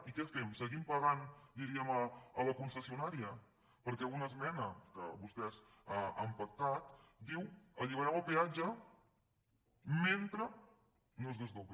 i què fem seguim pagant a la con·cessionària perquè una esmena que vostès han pac·tat diu alliberem el peatge mentre no es desdobli